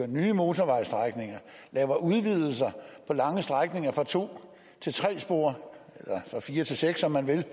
nye motorvejsstrækninger laver udvidelser på lange strækninger fra to til tre spor eller fra fire til seks om man vil